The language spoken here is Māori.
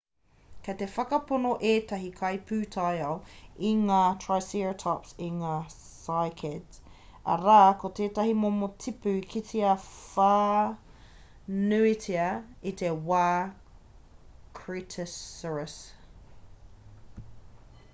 kei te whakapono ētahi kaipūtaiao i kai ngā triceratops i ngā cycads arā ko tētahi momo tipu i kitea whānuitia i te wā cretaceous